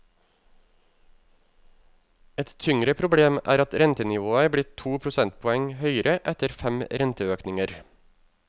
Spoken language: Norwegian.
Et tyngre problem er at rentenivået er blitt to prosentpoeng høyere etter fem renteøkninger.